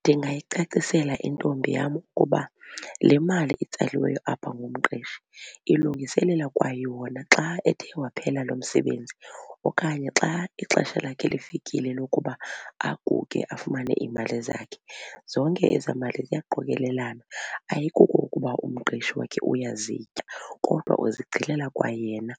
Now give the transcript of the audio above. Ndingayicacisela intombi yam ukuba le mali itsaliweyo apha ngumqeshi ilungiselela kwayona xa ethe waphela lo msebenzi okanye xa ixesha lakhe lifikile lokuba aguge afumane iimali zakhe. Zonke ezaa mali ziyaqokelelana, ayikuko ukuba umqeshi wakhe uyazitya kodwa uzigcinela kwayena